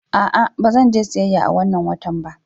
A'a, ba zan je siyayya a wannan watan ba.